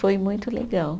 Foi muito legal.